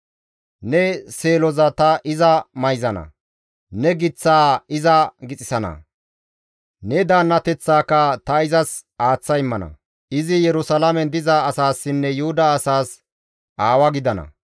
Ne seeloza ta iza mayzana; ne giththaa iza gixissana; ne daannateththaaka ta izas aaththa immana. Izi Yerusalaamen diza asaassinne Yuhuda asaas aawa gidana.